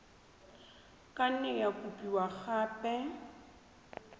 ka nne ya kopiwa gape